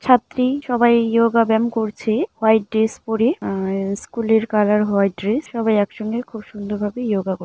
ছাত্রী সবাই ইয়োগা ব্যায়াম করছে হোয়াইট ড্রেস পরে। হুম স্কুলের কালার হোয়াইট ড্রেস । সবাই একসঙ্গে খুব সুন্দর ভাবে ইয়োগা কর --